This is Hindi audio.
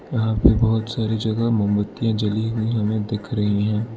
यहां पे बहोत सारी जगह मोमबत्तियां जली हुई हमें दिख रही हैं।